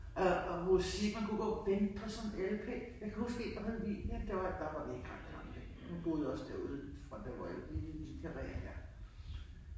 Og og musik man kunne gå vente på sådan en LP jeg kan huske en der hed Vivian der var der var vi ikke ret gamle hun boede også derude fra der hvor i de der karreer der